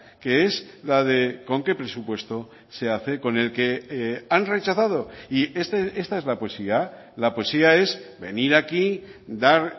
que es la de con qué presupuesto se hace con el que han rechazado y esta es la poesía la poesía es venir aquí dar